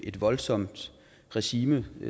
et voldsomt regime